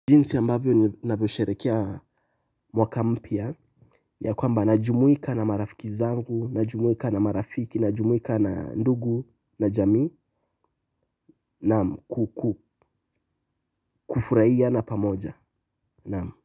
Jinsi ambavyo ninavyo sherehekea mwaka mpya ya kwamba najumuika na marafiki zangu, najumuika na marafiki, najumuika na ndugu na jamii naam kufurahia pamoja.